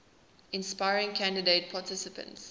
inspiring candidate participants